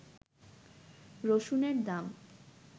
রসুনের দাম